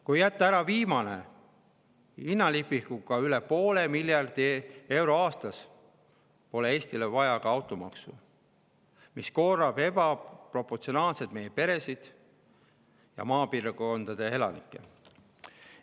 Kui jätta ära, mille hinnalipik on üle 0,5 miljardi euro aastas, poleks Eestis vaja ka automaksu, mis koormab ebaproportsionaalselt meie peresid ja maapiirkondade elanikke.